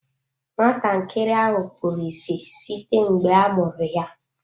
Nwatakịrị ahụ kpuru ịsị site mgbe a mụrụ ya.